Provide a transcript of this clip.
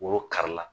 Woro kari la